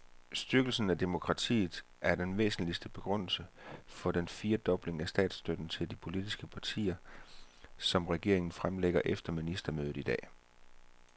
Styrkelse af demokratiet er den væsentligste begrundelse for den firedobling af statsstøtten til de politiske partier, som regeringen fremlægger efter ministermødet i dag.